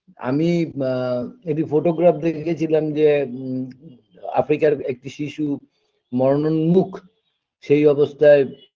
আমি মা একটি photograph দেখে গেছিলাম যে ব আফ্রিকার একটি শিশু মরনোন্মূখ সেই অবস্থায়